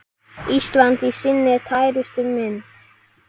Ísland í sinni tærustu mynd.